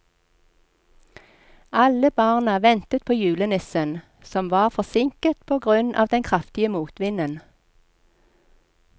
Alle barna ventet på julenissen, som var forsinket på grunn av den kraftige motvinden.